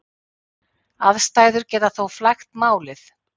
Aðstæður geta þó flækt málið.